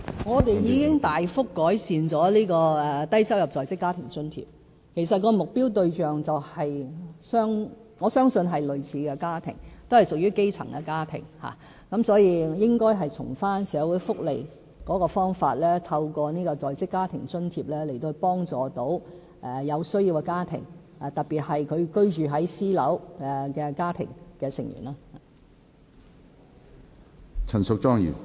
我們已大幅改善低收入在職家庭津貼，我相信其目標對象是類似的家庭，均屬於基層家庭，所以應從社會福利的方法，透過在職家庭津貼來幫助有需要的家庭，特別是居住在私樓的家庭成員。